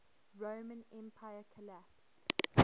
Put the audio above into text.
roman empire collapsed